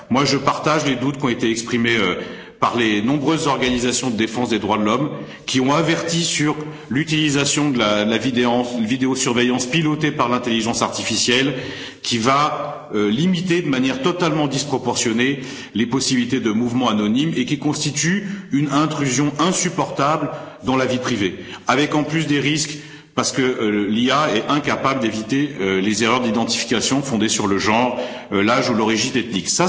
Je partage les doutes qui ont été exprimés par les nombreuses organisations de défense des droits de l'homme, qui ont averti de l'utilisation de la vidéosurveillance pilotée par l'intelligence artificielle, qui va limiter de manière totalement disproportionnée les possibilités de mouvement anonyme et qui constitue une intrusion insupportable dans la vie privée avec, en plus, des risques, parce que l'IA est incapable d'éviter les erreurs d'identification fondée sur le genre, l'âge ou l'origine ethnique.